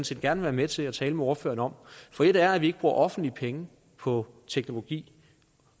set gerne være med til at tale med ordføreren om for et er at vi ikke bruger offentlige penge på teknologi